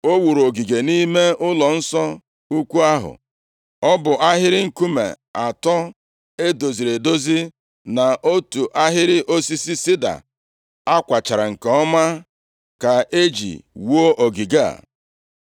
O wuru ogige nʼime ụlọnsọ ukwu ahụ. Ọ bụ ahịrị nkume atọ e doziri edozi na otu ahịrị osisi sida a kwachara nke ọma ka e ji wuo ogige a.